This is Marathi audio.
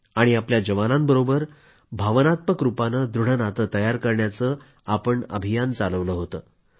आणि आपल्या जवानांबरोबर भावानात्मक रूपानं दृढ नातं तयार करण्याचं अभियान चालवलं होतं